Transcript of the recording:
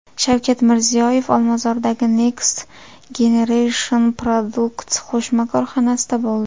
Shavkat Mirziyoyev Olmazordagi Next Generation Product qo‘shma korxonasida bo‘ldi.